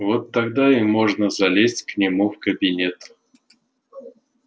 вот тогда и можно залезть к нему в кабинет